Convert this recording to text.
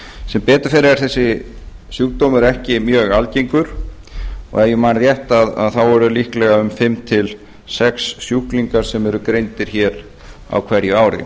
sem betur fer er þessi sjúkdómur ekki mjög algengur og ef ég man rétt eru líklega um fimm til sex sjúklingar sem eru greindir á hverju ári